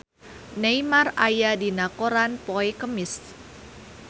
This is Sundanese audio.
Neymar aya dina koran poe Kemis